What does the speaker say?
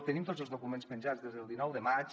tenim tots els documents penjats des del dinou de maig